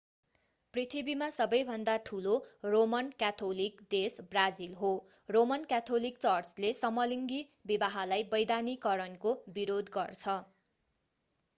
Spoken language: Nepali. पृथ्वीमा सबैभन्दा ठूलो रोमन क्याथोलिक देश ब्राजिल हो रोमन क्याथोलिक चर्चले समलिङ्गी विवाहलाई वैधानिकरणको विरोध गर्छ